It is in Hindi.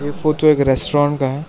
फोटो एक रेस्टोरेंट का है।